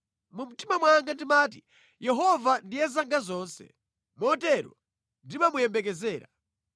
Mu mtima mwanga ndimati, “Yehova ndiye zanga zonse; motero ndimamuyembekezera.”